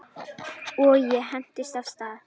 Og ég hentist af stað.